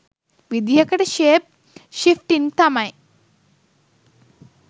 විදිහකට shape shifting තමයි.